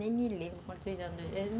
Nem me lembro quantos anos.